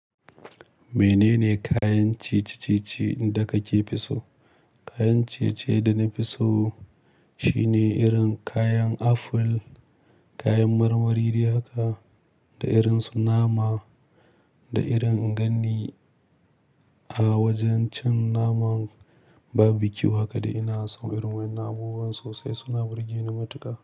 Menene kayan ciye-ciye da kake fi so? Kayan ciye-ciye da na fi so shine irin kayan apple, kayan marmari dai haka da irin su nama da irin in gani a wajen cin naman barbecue. Haka, da ina so irin wadannan abubuwan sosai suna burge ni matuƙa.